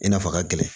I n'a fɔ a ka gɛlɛn